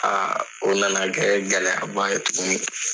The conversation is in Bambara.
o na na kɛ gɛlɛya ba ye tuguni.